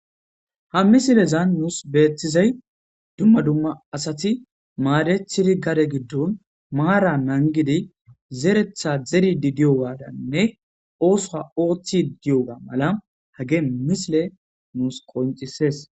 ha misilezan nuus beettizay dumma dumma asati maadethidi gare giddon maara nangidi zeretha zeri di diyo waadanne oosoha ooththi diyoga mala hage misile nuus qoncisees